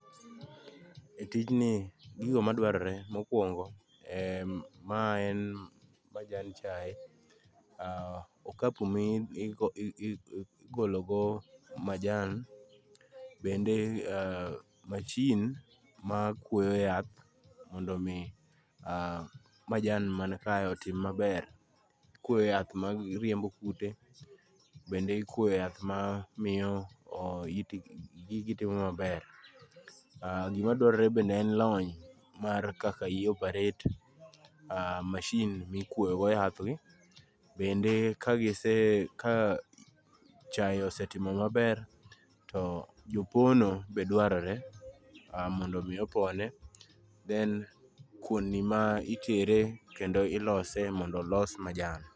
Tijni gigo madwar re mokwongo ma en majan chae, ka kumi igologo majan bende machin ma kwoyo yath mondo mi majan man ka otim maber. Ikwoyo yath ma riembo kute, bende ikwoyo yath ma miyo itgi timo maber. Gima dwarore bende en lony kaka i operate machine mikwoyo go yath gi. Bende ka gise ka chae osetimo maber to jopono be dwarore mondo mi opone. Then kuon ni ma itere kendo ilose mondo olos majan.